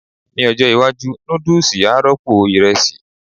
Ní ọjọ́ iwájú, núdùsì á rọ́pò ìrẹsì